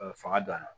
fanga don a la